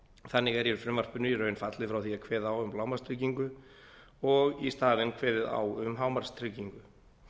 þannig er í frumvarpinu í raun fallið frá því að kveða á um lágmarkstryggingu og í staðinn kveðið á um hámarkstryggingu